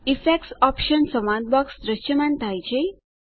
effects options સંવાદ box દ્રશ્યમાન થાય છે